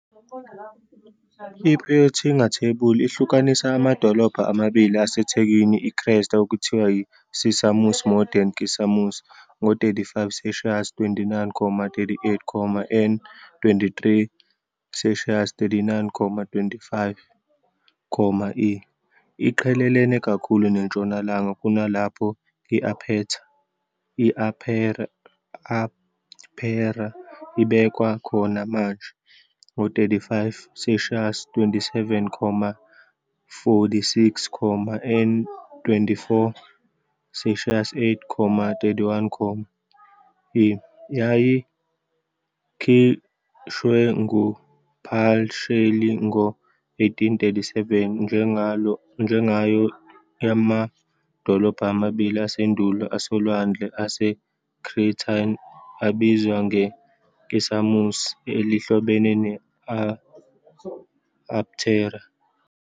I- Peutinger Table ihlukanisa amadolobha amabili asethekwini eKrete okuthiwa yiCisamus, Modern Kissamos, ngo-35 degrees 29'38 ″ N 23 degrees 39'25 ″ E, iqhelelene kakhulu nentshonalanga kunalapho i-Aptera ibekwa khona manje, ngo-35 degrees 27 ' 46 ″ N 24 degrees 8'31 ″ E. Yayikhishwe nguPashley ngo-1837 njengayo, yamadolobha amabili asendulo asolwandle aseCretan abizwa ngeKisamos, elihlobene ne-Aptera.